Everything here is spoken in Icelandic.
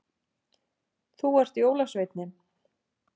Þú ert jólasveinninn